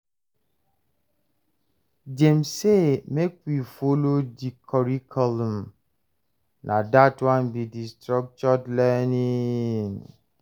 Dem sey make we folo di curriculum, na dat one be di structured learning.